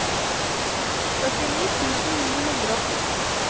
førtini tusen ni hundre og to